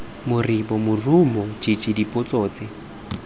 moribo morumo jj dipotso tse